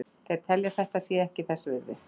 Þeir telja að þetta sé ekki þess virði.